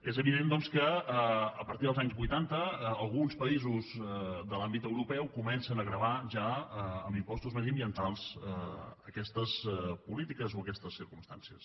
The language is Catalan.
és evident doncs que a partir dels anys vuitanta alguns països de l’àmbit europeu comencen a gravar ja amb impostos mediambientals aquestes polítiques o aquestes circumstàncies